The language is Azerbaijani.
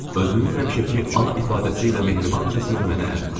Özünün həmişəki a ifadəsi ilə mehribancasına mənə əl uzatdı.